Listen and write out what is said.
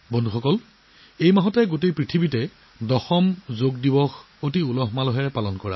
চলিত মাহত সমগ্ৰ বিশ্বই অতি উৎসাহ আৰু উদ্দীপনাৰে দশম যোগ দিৱস উদযাপন কৰিছে